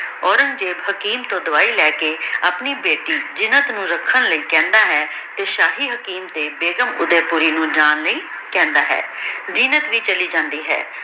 ਔਰੇਨ੍ਗ੍ਜ਼ੇਬ ਹਕੀਮ ਤੋਂ ਦਵਾਈ ਲੇ ਕੇ ਆਪਣੀ ਬੇਟੀ ਜੀਨਤ ਨੂ ਰਖਣ ਲੈ ਕਹੰਦਾ ਹੈ ਤੇ ਸ਼ਾਹੀ ਹਕੀਮ ਤੇ ਬੇਗੁਮ ਨੂ ਓਡੀ ਕੋਲੋ ਜਾਨ ਲੈ ਕਹੰਦਾ ਹੈ ਜੀਨਤ ਵੀ ਚਲੀ ਜਾਂਦੀ ਹੈ